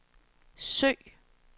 søg